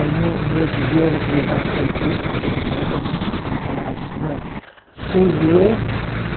Aí no ô, no outro dia ela que levava o cientista, a gerontóloga né, ela falava assim, olha vocês lê?